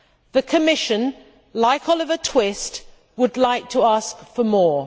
The Commission, like Oliver Twist, would like to ask for more.